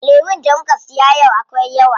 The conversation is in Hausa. Lemun da muka siya yau akwai yawa.